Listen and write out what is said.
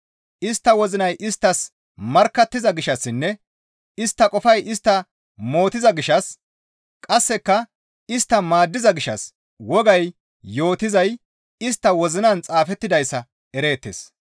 Istta wozinay isttas markkattiza gishshassinne istta qofay istta mootiza gishshas qasseka istta maaddiza gishshas wogay yootizay istta wozinan xaafettidayssa ereettes.